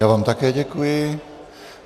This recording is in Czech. Já vám také děkuji.